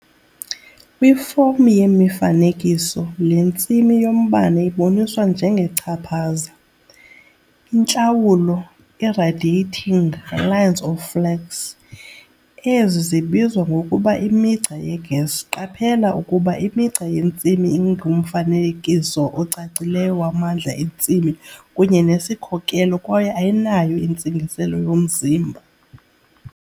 Kwifom yemifanekiso, le ntsimi yombane iboniswa njengechaphaza, intlawulo, i-radiating "lines of flux". Ezi zibizwa ngokuba imigca yeGauss. Qaphela ukuba imigca yentsimi ingumfanekiso ocacileyo wamandla entsimi kunye nesikhokelo kwaye ayinayo intsingiselo yomzimba.